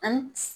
An